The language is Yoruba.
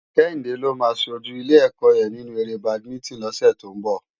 Kehinde ló má ṣójú ilé èkò yèn ninú éré bádimintin lòsè tó n bò